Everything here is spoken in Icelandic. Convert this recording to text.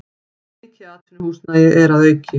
Mikið atvinnuhúsnæði er að auki